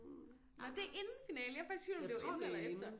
Nå det er inden finalen jeg var faktisk i tvivl om det var lige inden eller efter